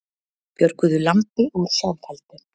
Björguðu lambi úr sjálfheldu